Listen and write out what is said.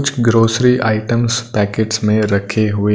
कुछ grocery items packets में रखे हुए--